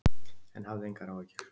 En hafðu engar áhyggjur.